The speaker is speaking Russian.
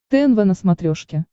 тнв на смотрешке